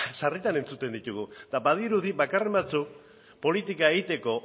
sarritan entzuten ditugu eta badirudi bakarren batzuk politika egiteko